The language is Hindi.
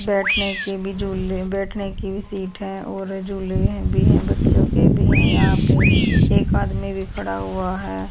बैठने के भी झूले बैठने की भी सीट है और झूले हैं भी है बच्चों के भी हैं यहां पे एक आदमी भी खड़ा हुआ है।